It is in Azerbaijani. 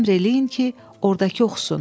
Əmr eləyin ki, ordakı oxusun.